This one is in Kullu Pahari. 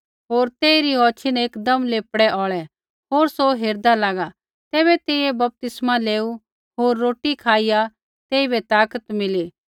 होर तेइरी औछ़ी न एकदम लेह्पड़ै औल़ै होर सौ हेरदा लागा तैबै तेइयै बपतिस्मा लेऊ होर रोटी खाईया तेइबै ताकत मिली